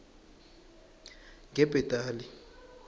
ngebhetali